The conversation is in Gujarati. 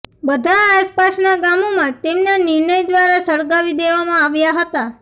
બધા આસપાસના ગામોમાં તેમના નિર્ણય દ્વારા સળગાવી દેવામાં આવ્યા હતા